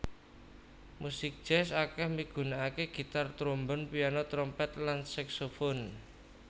Musik jazz akèh migunakaké gitar trombon piano trompet lan saksofon